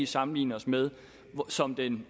sammenligner os med som den